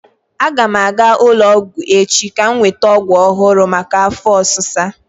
Aga m aga ụlọ ọgwụ echi ka m nweta ọgwụ ọhụrụ maka afọ ọsisa.